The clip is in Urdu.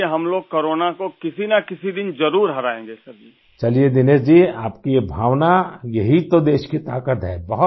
مودی جی چلیئے ،دنیش جی ، آپ کا یہ جذبہ ہی تو ملک کی طاقت ہے